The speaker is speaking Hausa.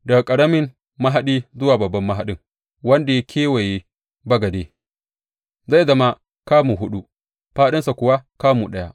Daga ƙaramin mahaɗi zuwa babban mahaɗin wanda ya kewaye bagade, zai zama kamu huɗu, fāɗinsa kuwa kamu ɗaya.